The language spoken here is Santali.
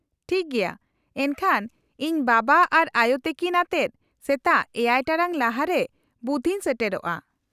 -ᱴᱷᱤᱠ ᱜᱮᱭᱟ ᱾ ᱮᱱᱠᱷᱟᱱ ᱤᱧ ᱵᱟᱵᱟ ᱟᱨ ᱟᱭᱳ ᱛᱟᱹᱠᱤᱱ ᱟᱛᱮᱫ ᱥᱮᱛᱟᱜ ᱗ ᱴᱟᱲᱟᱝ ᱞᱟᱦᱟᱨᱮ ᱵᱩᱛᱷᱚ ᱤᱧ ᱥᱮᱴᱮᱨᱚᱜᱼᱟ ᱾